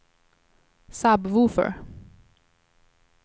sub-woofer